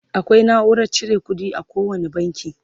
akwai naurar cire ƙuɗi a kowani banki